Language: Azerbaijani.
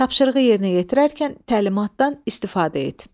Tapşırığı yerinə yetirərkən təlimatdan istifadə et.